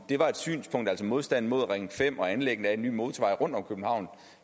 var et synspunkt altså modstanden mod ring fem og anlæg af en ny motorvej rundt om københavn